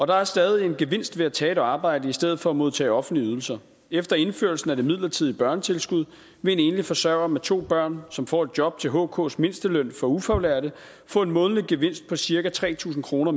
der er stadig en gevinst ved at tage et arbejde i stedet for at modtage offentlige ydelser efter indførelsen af det midlertidige børnetilskud vil en enlig forsørger med to børn som får et job til hks mindsteløn for ufaglærte få en månedlig gevinst på cirka tre tusind kroner